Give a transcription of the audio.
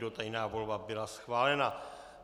Tajná volba byla schválena.